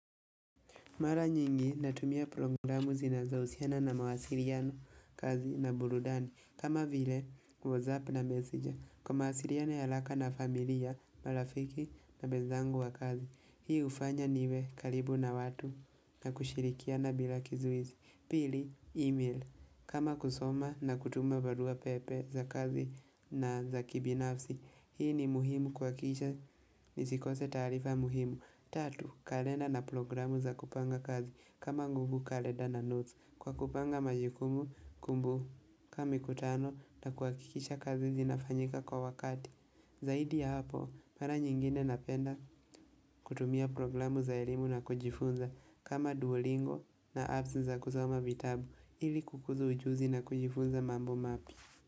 Mara nyingi natumia programu zinazohusiana na mawasiliano kazi na burudani. Kama vile, whatsapp na messenger. Kwa mawasiliano ya haraka na familia, marafiki na wenzangu wa kazi. Hii hufanya niwe karibu na watu na kushirikiana bila kizuizi. Pili, email. Kama kusoma na kutuma barua pepe za kazi na za kibinafsi. Hii ni muhimu kuhakikisha, nisikose taarifa muhimu. Tatu, kalenda na programu za kupanga kazi kama nguvu kalenda na notes kwa kupanga majukumu kumbu ka mikutano na kuhakikisha kazi zinafanyika kwa wakati. Zaidi ya hapo, mara nyingine napenda kutumia programu za elimu na kujifunza kama duolingo na apps za kusoma vitabu ili kukuza ujuzi na kujifunza mambo mapya.